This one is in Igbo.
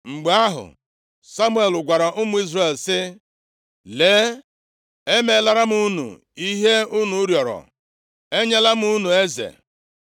Mgbe ahụ, Samuel gwara ụmụ Izrel sị, “Lee, emeelara m unu ihe unu rịọrọ, Enyela m unu eze.